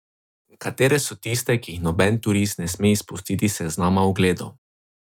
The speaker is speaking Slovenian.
Katere so tiste, ki jih noben turist ne sme izpustiti s seznama ogledov?